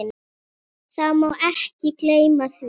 Það má ekki gleyma því.